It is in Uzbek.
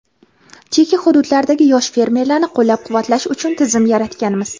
chekka hududlardagi yosh fermerlarni qo‘llab-quvvatlash uchun tizim yaratganmiz.